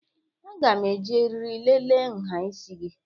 Aga m eji eriri lelee nha isi gị